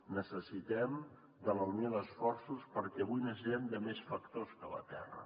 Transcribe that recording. necessitem la unió d’esforços perquè avui necessitem més factors que la terra